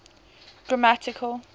grammatical